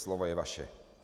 Slovo je vaše.